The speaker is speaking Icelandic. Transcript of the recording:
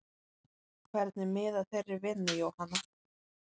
Hvernig miðar þeirri vinnu Jóhanna?